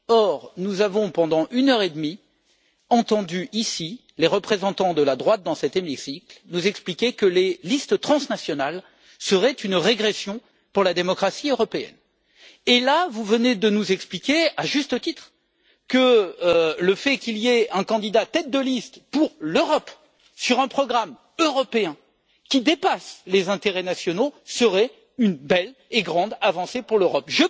Or, nous avons pendant une heure et demie entendu, ici, les représentants de la droite dans cet hémicycle nous expliquer que les listes transnationales seraient une régression pour la démocratie européenne, et, là, vous venez de nous expliquer, à juste titre, que le fait qu'il y ait un candidat tête de liste pour l'Europe sur un programme européen, qui dépasse les intérêts nationaux, serait une belle et grande avancée pour l'Europe!